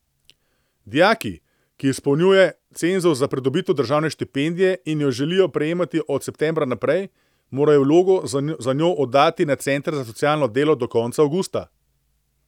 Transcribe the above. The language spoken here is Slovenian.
Dijaki, ki izpolnjuje cenzus za pridobitev državne štipendije, in jo želijo prejemati od septembra naprej, morajo vlogo za njo oddati na center za socialno delo do konca avgusta.